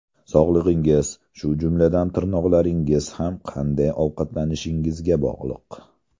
Sog‘lig‘ingiz, shu jumladan tirnoqlaringiz ham qanday ovqatlanishingizga bog‘liq.